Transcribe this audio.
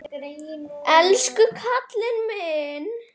Elsku kallinn minn.